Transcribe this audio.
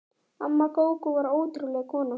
Amma Gógó var ótrúleg kona.